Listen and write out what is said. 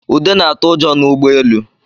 Ude na-atụ ụjọ n'ụgbọelu